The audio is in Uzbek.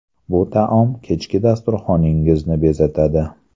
Bu taom kechki dasturxoningizni bezatadi.